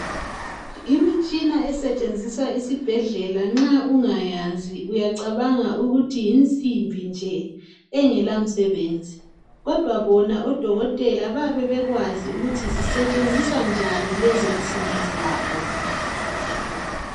imitshina esetshenziswa esibhedlela nxa ungayazi uyacabanga ukuthi yinsimbi nje engelamsebenzi ,kodwa bona odokotela bayabe bekwazi ukuthi zisetsheniswa njani lezo nsimbi zabo